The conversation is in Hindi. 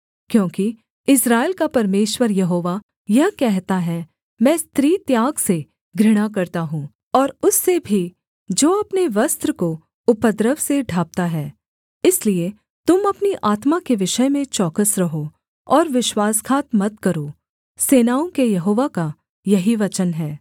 क्योंकि इस्राएल का परमेश्वर यहोवा यह कहता है मैं स्त्रीत्याग से घृणा करता हूँ और उससे भी जो अपने वस्त्र को उपद्रव से ढाँपता है इसलिए तुम अपनी आत्मा के विषय में चौकस रहो और विश्वासघात मत करो सेनाओं के यहोवा का यही वचन है